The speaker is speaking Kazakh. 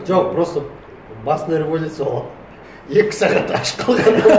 жоқ просто басында революция екі сағат аш қалған